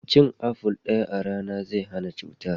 Cin aful daya a rana zai hana cutar.